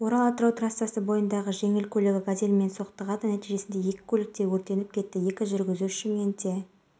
және кәсіпкерге келтірілген шығынды шамамен жыл ішінде қайтару керек ал оның жоспарына сәйкес шағын маркеттің